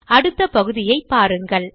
அடுத்த பகுதியை பாருங்கள்